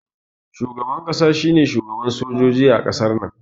Shugaban ƙasa shine shugaban sojoji a ƙasar